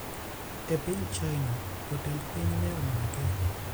E piny China, jotend piny ne omake